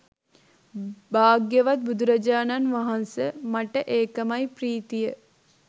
භාග්‍යවත් බුදුරජාණන් වහන්ස මට ඒකමයි ප්‍රීතිය